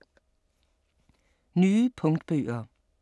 Nye punktbøger